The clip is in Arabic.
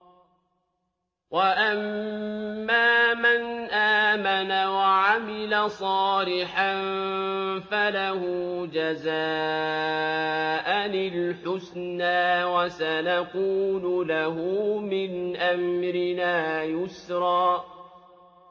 وَأَمَّا مَنْ آمَنَ وَعَمِلَ صَالِحًا فَلَهُ جَزَاءً الْحُسْنَىٰ ۖ وَسَنَقُولُ لَهُ مِنْ أَمْرِنَا يُسْرًا